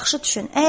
Yaxşı düşün.